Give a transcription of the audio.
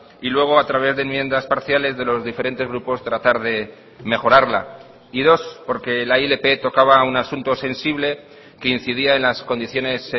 y luego a través de enmiendas parciales de los diferentes grupos tratar de mejorarla y dos porque la ilp tocaba un asunto sensible que incidía en las condiciones